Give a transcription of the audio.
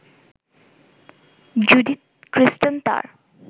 Judith Kristen তার